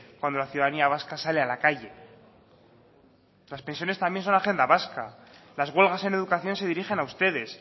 cuando la ciudadanía vasca sale a la calle las pensiones también son agenda vasca las huelgas en educación se dirigen a ustedes